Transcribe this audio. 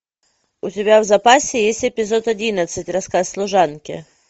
у тебя в запасе есть эпизод одиннадцать рассказ служанки